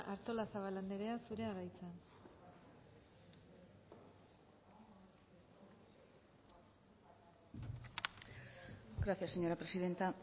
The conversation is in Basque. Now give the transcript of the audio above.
artolazabal anderea zurea da hitza gracias señora presidenta